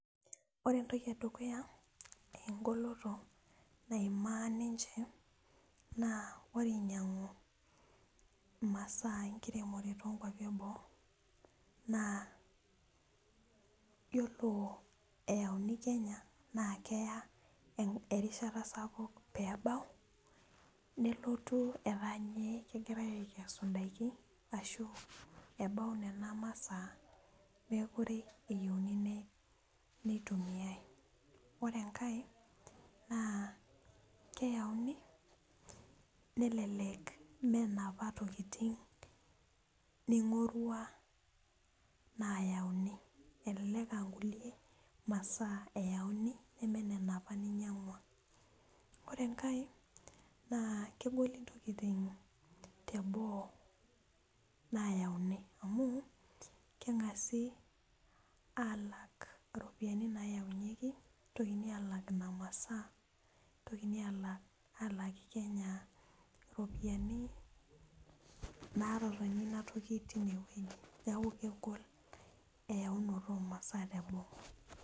Ore entoki edukuya engoloto naimaa ninche naa ore inyiang'u imasaa enkiremore tonkuapi eboo naa yiolo eyauni kenya naa keya en erishata sapuk peebau nelotu etaa inye kegirae aikesu indaiki ashu ebau nena masaa mekure eyieuni ne neitumiae ore enkae naa keyauni nelelek menapa tokiting ning'orua nayauni elelek ankulie masaa eyauni neme nena apa ninyiang'ua ore enkae naa kegoli intokiting teboo nayauni amu keng'asi alak iropiani nayaunyieki nitokini alak ina masaa nitokini alak, aalaki kenya iropiani natotoni inatoki tinewueji niaku kegol eyaunoto omasaa teboo.